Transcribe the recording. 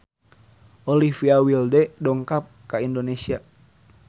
Olivia Wilde dongkap ka Indonesia